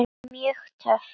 Mjög töff.